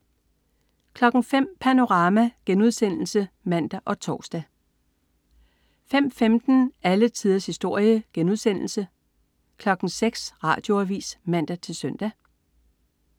05.00 Panorama* (man og tors) 05.15 Alle tiders historie* 06.00 Radioavis (man-søn)